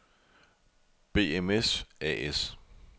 BMS A/S